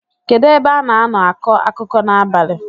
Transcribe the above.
kedu ebe a na-nọ akọ akụkọ n’abalị?